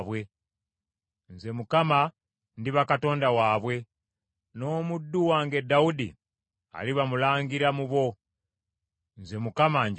Nze Mukama ndiba Katonda waabwe, n’omuddu wange Dawudi aliba mulangira mu bo. Nze Mukama njogedde.